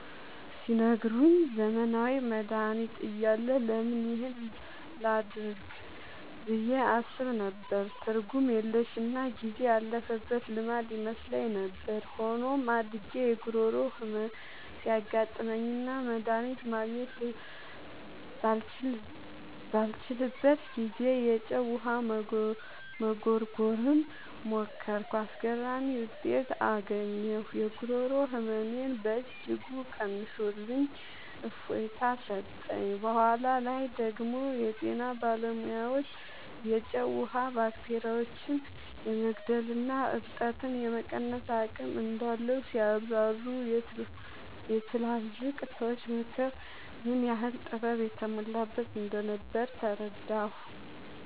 ሲነግሩኝ፣ ዘመናዊ መድሃኒት እያለ ለምን ይህን ላደርግ ብዬ አስብ ነበር። ትርጉም የለሽና ጊዜ ያለፈበት ልማድ ይመስለኝ ነበር። ሆኖም፣ አድጌ የጉሮሮ ህመም ሲያጋጥመኝና መድሃኒት ማግኘት ባልችልበት ጊዜ፣ የጨው ውሃ መጉርጎርን ሞከርኩ። አስገራሚ ውጤት አገኘሁ! የጉሮሮ ህመሜን በእጅጉ ቀንሶልኝ እፎይታ ሰጠኝ። በኋላ ላይ ደግሞ የጤና ባለሙያዎች የጨው ውሃ ባክቴሪያዎችን የመግደልና እብጠትን የመቀነስ አቅም እንዳለው ሲያብራሩ፣ የትላልቅ ሰዎች ምክር ምን ያህል ጥበብ የተሞላበት እንደነበር ተረዳሁ።